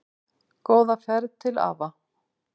Góða ferð til afa.